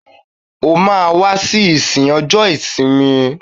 O máa wá sí ìsìn ọjọ́ ìsinmi.